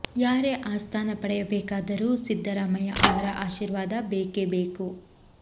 ಯಾರೇ ಆ ಸ್ಥಾನ ಪಡೆಯಬೇಕಾದರೂ ಸಿದ್ದರಾಮಯ್ಯ ಅವರ ಆಶೀರ್ವಾದ ಬೇಕೇ ಬೇಕು